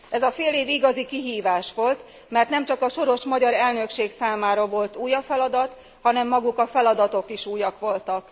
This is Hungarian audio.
Ez a félév igazi kihívás volt, mert nem csak a soros magyar elnökség számára volt új a feladat, hanem maguk a feladatok is újak voltak.